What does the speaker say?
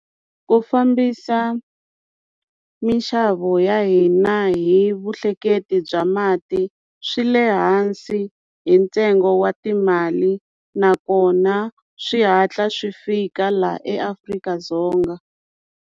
Ku fambisa minxavo ya hina hi vuhleketi bya mati swi le hansi hi ntsengo wa timali nakona swi hatla swi fika laha eAfrika-Dzonga.